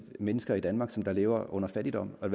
mennesker i danmark som lever i fattigdom og